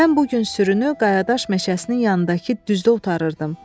Mən bu gün sürünü qayadaş meşəsinin yanındakı düzdə otarırdım.